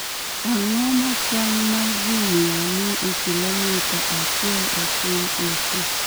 Ang�o ma kwan ma ji ma ni e kilomita achiel e piny Asia?